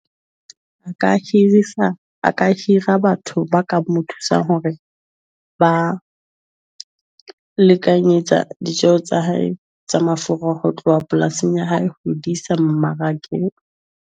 A ka hirisa, a ka hira batho ba ka mo thusang hore ba lekanyetsa ditjeo tsa hae tsa mafura ho tloha polasing ya hae ho di sa mmarakeng.